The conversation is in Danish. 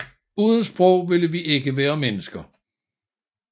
Uden sprog ville vi ikke være mennesker